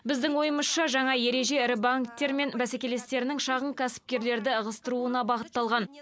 біздің ойымызша жаңа ереже ірі банктер мен бәсекелестерінің шағын кәсіпкерлерді ығыстыруына бағытталған